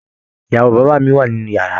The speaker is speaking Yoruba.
Ìyàwó bàbá mí wá nínú yàrá.